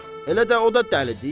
Elə də o da dəlidi?